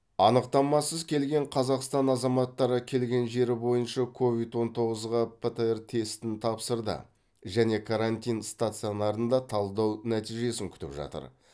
анықтамасыз келген қазақстан азаматтары келген жері бойынша ковид он тоғызға птр тестін тапсырды және карантин стационарында талдау нәтижесін күтіп жатыр